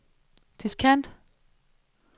diskant